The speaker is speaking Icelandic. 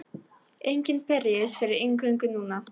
Enginn berjist fyrir inngöngu núna.